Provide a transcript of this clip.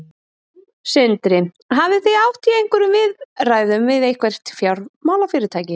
Sindri: Hafið þið átt í einhverjum viðræðum við eitthvert fjármálafyrirtæki?